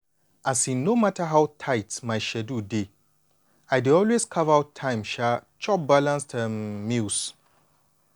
um no matter how tight my schedule dey i dey always carve out time um chop my balanced um meals.